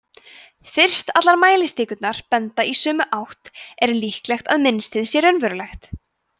fyrst allar mælistikurnar benda í sömu átt er líklegt að mynstrið sé raunverulegt